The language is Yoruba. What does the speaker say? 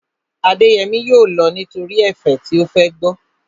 Adéyẹmí yóò lọ nítorí ẹ̀fẹ̀ tí ó fẹ́ gbọ́